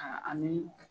ani